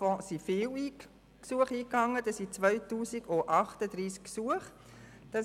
Zuhanden des Sportfonds gingen 2038 Gesuche ein.